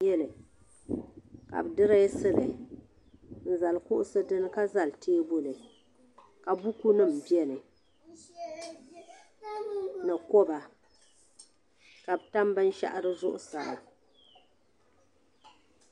duu n biɛni ka bi dirɛsili n zali kuɣusi dinni ka zali teebuli ka buku nim biɛni ni koba ka bi tam binshaɣu di zuɣusaa